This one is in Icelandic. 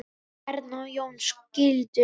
Erna og Jón skildu.